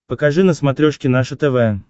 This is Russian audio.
покажи на смотрешке наше тв